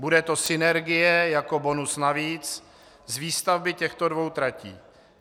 Bude to synergie jako bonus navíc z výstavby těchto dvou tratí.